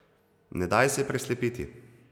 Ne daj se preslepiti.